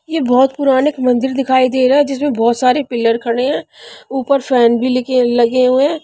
यह बहुत पुराने एक मंदिर दिखाई दे रहा है जिसमें बहुत सारे पिलर खड़े हैं ऊपर फैन भी लिखे लगे हुए हैं.